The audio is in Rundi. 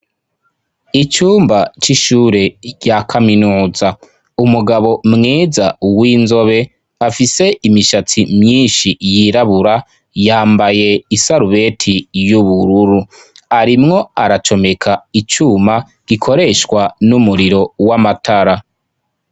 Icumba c'ishure rya kaminuza, umugabo mwiza w'inzobe afise imishatsi myinshi yirabura yambaye isarubeti y'ubururu, arimwo aracomeka icuma gikoreshwa n'umuriro w'amatara.